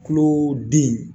Tulo den in